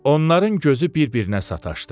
Onların gözü bir-birinə sataşdı.